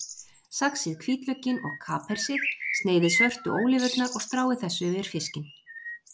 Saxið hvítlaukinn og kapersið, sneiðið svörtu ólívurnar og stráið þessu yfir fiskinn.